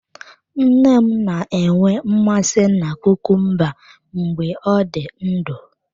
Nne m na-enwe mmasị na kukumba mgbe ọ dị ndụ.